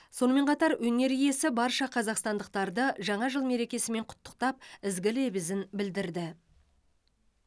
сонымен қатар өнер иесі барша қазақстандықтарды жаңа жыл мерекесімен құттықтап ізгі лебізін білдірді